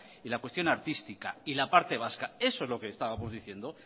la cuestión artística y la parte vasca eso es lo que estábamos diciendo